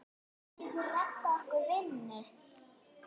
Geturðu reddað okkur vinnu?